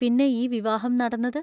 പിന്നെ ഈ വിവാഹം നടന്നത്?